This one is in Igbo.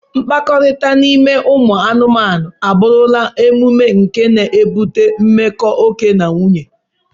Mkpakọrịta n'ime ụmụ anụmanụ, abụrụla omume nke na-ebute mmekọ oke na nwunye.